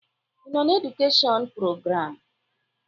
Ị nọ na edukeshọn prograamụ?